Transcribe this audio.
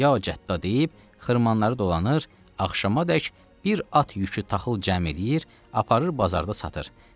Ya Cəddə deyib xırmanları dolanır, axşamadək bir at yükü taxıl cəm eləyir, aparıb bazarda satır.